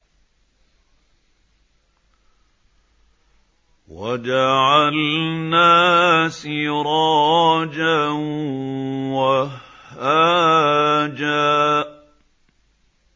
وَجَعَلْنَا سِرَاجًا وَهَّاجًا